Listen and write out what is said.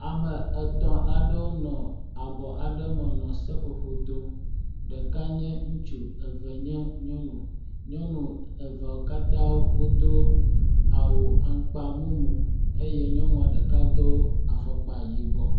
Ame etɔ̃ aɖewo nɔ abɔ aɖe me nɔ seƒoƒo dom ɖeka nye ŋutsu eye eve nye nyɔnu. Nyɔnu eveawo katã wodo awu aŋkpa mumu eye nyɔnua ɖeka do afɔkpa yibɔ.